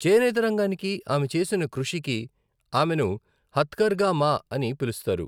చేనేత రంగానికి ఆమె చేసిన కృషికి ఆమెను హత్కర్గా మా అని పిలుస్తారు.